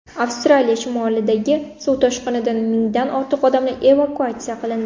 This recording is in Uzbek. Avstraliya shimolidagi suv toshqinidan mingdan ortiq odamlar evakuatsiya qilindi.